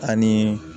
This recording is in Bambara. Ani